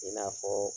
I n'a fɔ